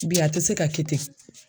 bi a tɛ se ka kɛ te.